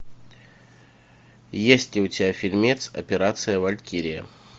есть ли у тебя фильмец операция валькирия